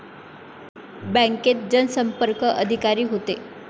बँकेत जनसंपर्क अधिकारी होते